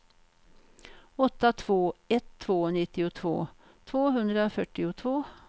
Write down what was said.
åtta två ett två nittiotvå tvåhundrafyrtiotvå